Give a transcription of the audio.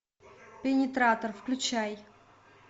пенетратор включай